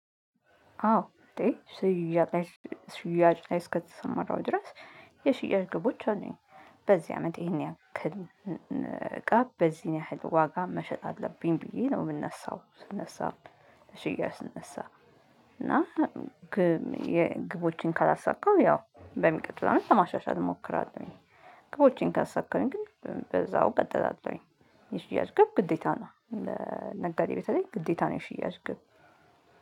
አዎ እንዴ? ሽያጭ ሽያጭ ላይ እስከተሰማራው ድረስ የሽያጭ ግቦች አሉኝ። በዚህ አመት ይሄን ያክል እቃ በዚህን ያህል ዋጋ መሸጥ አለብኝ ብዬ ነው የምነሳው ስነሳም ለሽያጭ ስነሳ። እና የግቦችን ካላሳካው ያው በሚቀጥለው አመት ለማሻሻል እሞክራለሁኝ። ግቦቼን ካሳካሁኝ ግን በዛው ቀጥላለሁኝ። የሽያጭ ግብ ግዴታ ነው ለነጋዴ በተለይ ግዴታ ነው የሽያጭ ግብ